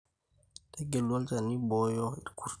Tegelu olchani oibooyo irr`kurrt.